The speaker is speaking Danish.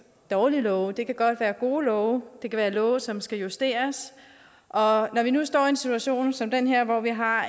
dårlige love det kan godt være gode love det kan være love som skal justeres og når vi nu står i en situation som den her hvor vi har